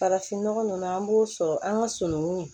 Farafin nɔgɔ ninnu an b'o sɔrɔ an ka sunukun